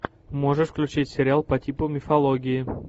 можешь включить сериал по типу мифологии